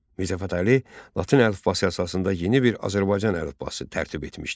Mirzə Fətəli Latın əlifbası əsasında yeni bir Azərbaycan əlifbası tərtib etmişdi.